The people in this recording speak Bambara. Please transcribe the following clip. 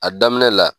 A daminɛ la